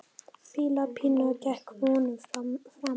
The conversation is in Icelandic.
Píla Pína gekk vonum framar.